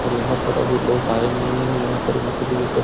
और यहाँ पर अभी लोग आए नहीं हैं। यहाँ पर भी मतलब की रिसप --